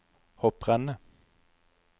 hopprennet